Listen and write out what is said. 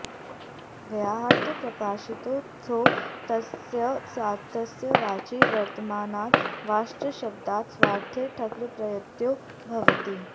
व्याहृतः प्रकाशितो ऽर्थो यस्यास्तस्यां वाचि वर्तमानाद् वाच्शब्दात् स्वार्थे ठक्प्रत्ययो भवति